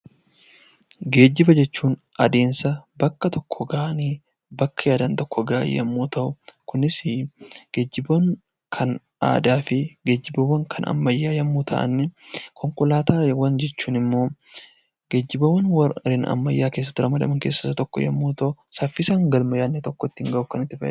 Geejjiba jechuun adeemsa bakka tokkoo ka'anii bakka yaadan tokko gahan yommuu ta'u, kunisii geejjiboon kan aadaa fi geejibboowwan kan ammayyaa yommuu ta'anii; Konkolaataawwan jechuun immoo geejjibaawwan warreen ammayyaa keessatti ramadaman keessaa isa tokko yommuu ta'u, saffisaan galma yaadne tokko ittiin gahuuf kan nuti fayyadamnu dha.